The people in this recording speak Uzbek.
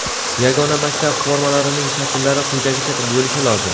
Yagona maktab formalarining shakllari quyidagicha bo‘lishi lozim:.